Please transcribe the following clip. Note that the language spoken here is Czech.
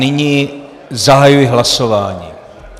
Nyní zahajuji hlasování.